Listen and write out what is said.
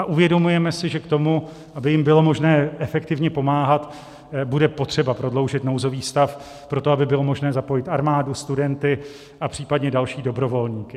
A uvědomujeme si, že k tomu, aby jim bylo možné efektivně pomáhat, bude potřeba prodloužit nouzový stav pro to, aby bylo možné zapojit armádu, studenty a případně další dobrovolníky.